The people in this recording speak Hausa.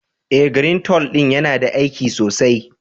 Eh, " greentole " din yana da aiki sosai.